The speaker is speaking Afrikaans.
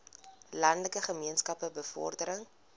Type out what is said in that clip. landelike gemeenskappe bevordering